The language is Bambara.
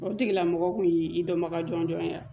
O tigila mɔgɔ kun y'i dɔnbaga jɔn jɔn ye